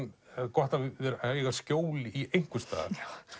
gott að eiga skjól einhvers staðar